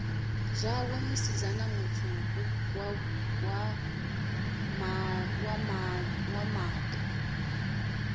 zwawe musidzana mutswuku wa maṱo